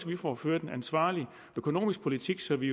vi får ført en ansvarlig økonomisk politik så vi